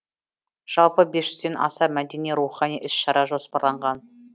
жалпы бес жүзден аса мәдени рухани іс шара жоспарланған